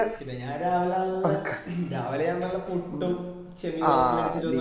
ഞാന് രാവില നല്ല രാവില നല്ല പുട്ടു ചെമ്മീന് കറി ഒക്കെ അടിച്ചിട്ട വന്നേ